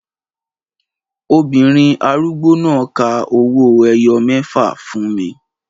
Obìnrin arúgbó náà ka owó ẹyọ mẹ́fà fún mi